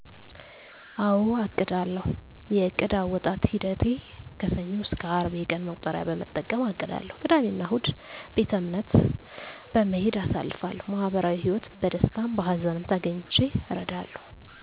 አወ አቅዳለሁ የዕቅድ አወጣጥ ሂደቴ ከሰኞ እስከ አርብ የቀን መቁጠሪያ በመጠቀም አቅዳለሁ ቅዳሜ እና እሁድ ቤተእምነት በመሄድ አሳልፋለሁ ማህበራዊ ህይወት በደስታም በሀዘንም ተገኝቼ እረዳለሁ